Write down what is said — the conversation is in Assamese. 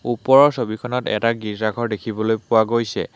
ওপৰৰ ছবিখনত এটা গীৰ্জা ঘৰ দেখিবলৈ পোৱা গৈছে।